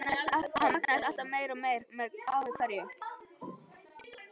Hann magnaðist alltaf meir og meir með ári hverju.